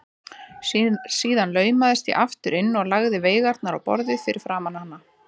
Síðan laumaðist ég aftur inn og lagði veigarnar á borðið fyrir framan hana.